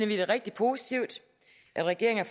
vi det rigtig positivt at regeringen